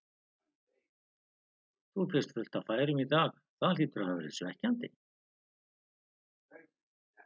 Þú fékkst fullt af færum í dag, það hlýtur að hafa verið svekkjandi?